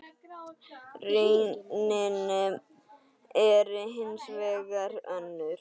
Raunin er hins vegar önnur.